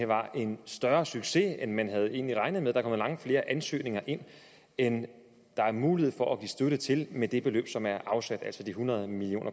var en større succes end man egentlig havde regnet med der kom langt flere ansøgninger ind end der er mulighed for at give støtte til med det beløb som er afsat altså de hundrede million